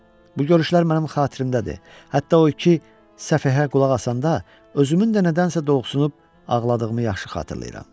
Bu görüşlər mənim xatirimdədir, hətta o iki səfəhə qulaq asanda özümün də nədənsə doluxsunub ağladığımı yaxşı xatırlayıram.